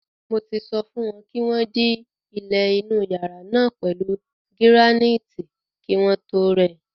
Mo ti sọ fún wọn kí wọ́n dí ilẹ̀ inú yàrá náà pẹ̀lú gíránáìtì kí wọ́n tó rẹ.